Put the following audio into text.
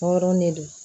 Tɔɔrɔ ne don